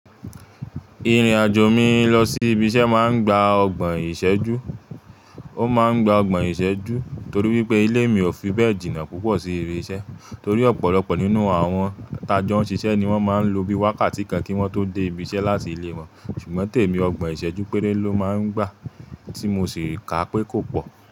Irin ajo mi lọ si ibi iṣẹ maá n gba ọgbọn iṣẹju. O máa n gba ọgbọn iṣẹju tori wípé ile mi o fi bẹẹ̀ jìna pupọ sí ibi iṣẹ tori ọpọlọpọ nínú àwon ti a jo n ṣiṣẹ ni won máa n lo bi wákàtí kan ki won to dé ibi iṣẹ láti ilé won ṣùgbọ́n tèmi ọgbọn iṣẹju péré ló má n gba ti mo sì ka pé kò pọ.